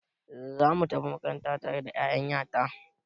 Za mu tafi makaranta tare da ya'yan ya ta.